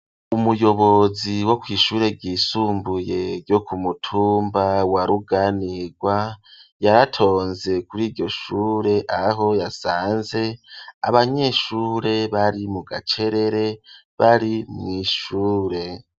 Umuyobozi wo kw’ishure ryisumbuye ryo ku mutumba wa ruganirwa yaratonze kuri iryo shure aho yasanze abanyeshure bari mu gacerere bari mw'ishure.